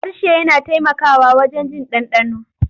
Harshe yana taimakawa wajen jin ɗanɗano.